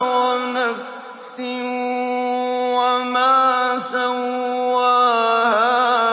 وَنَفْسٍ وَمَا سَوَّاهَا